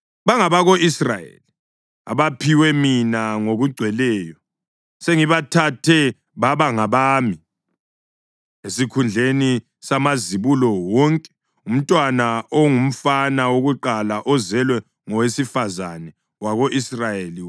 Bangabako-Israyeli abaphiwe mina ngokugcweleyo. Sengibathethe baba ngabami esikhundleni samazibulo, wonke umntwana ongumfana wokuqala ozelwe ngowesifazane wako-Israyeli.